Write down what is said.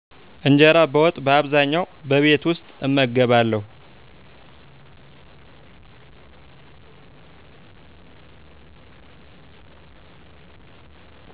እንጀራ በወጥ በአብዛኛዉ በቤት ዉስጥ እመገባለዉ